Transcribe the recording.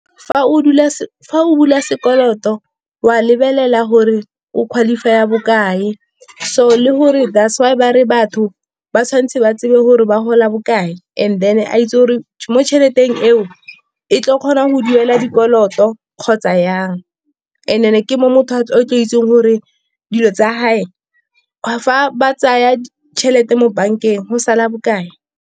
Fa o bula sekoloto wa lebelela gore o qualify-a bokae, so le gore that's why bare batho ba tshwanetse ba tsebe gore ba gola bokae. And then a itse gore mo tšheleteng eo e tlo kgona go duela dikoloto kgotsa yang, and ke mo motho o tlo itseng gore dilo tsa gage, fa ba tsaya tšhelete mo bank-eng go sala bokae.